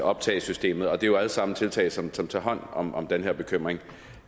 optagesystemet og det er jo alle sammen tiltag som tager hånd om om den her bekymring